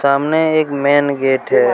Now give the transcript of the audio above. एक main gate हैं।